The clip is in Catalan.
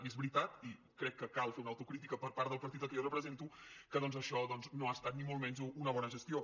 i és veritat i crec que cal fer una autocrítica per part del partit que jo represento que doncs això no ha estat ni molt menys una bona gestió